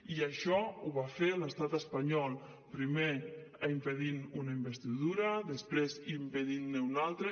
i això ho va fer l’estat espanyol primer impedint una investidura després impedint ne una altra